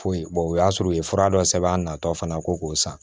Foyi o y'a sɔrɔ u ye fura dɔ sɛbɛn a natɔ fana ko k'o san